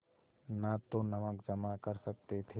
न तो नमक जमा कर सकते थे